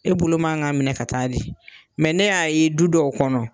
E bolo man ka minɛ ka taa di . ne y'a ye du dɔw kɔnɔ